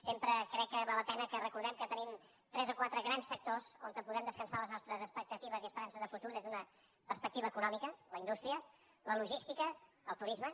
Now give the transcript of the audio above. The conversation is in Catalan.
sempre crec que val la pena que recordem que tenim tres o quatre grans sectors on podem descansar les nostres expectatives i esperances de futur des d’una perspectiva econòmica la indústria la logística el turisme